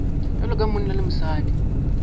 bjalo ka monna le mosadi